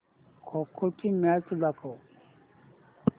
खो खो ची मॅच दाखव